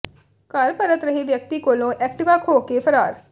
ਘਰ ਪਰਤ ਰਹੇ ਵਿਅਕਤੀ ਕੋਲੋਂ ਐਕਟਿਵਾ ਖੋਹ ਕੇ ਫਰਾਰ